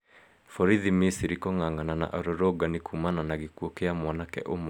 Borithi Mĩsirĩ kũng'ang'ana na arũrũngani kũmana na gĩkuũ kĩa mwanake ũmwe